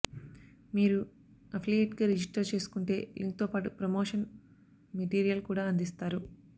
మీరు అఫిలియేట్గా రిజిస్టర్ చేసుకుంటే లింక్తో పాటు ప్రమోషన్ మెటీరియల్ కూడా అందిస్తారు